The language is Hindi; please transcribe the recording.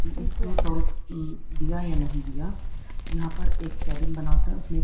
कि इसने टोल म् दिया या नहीं दिया यहाँ पर एक केबिन बना होता है उसमें एक--